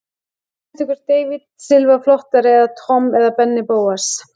Hvort finnst ykkur David Silva flottari sem Tom eða Benni Bóas?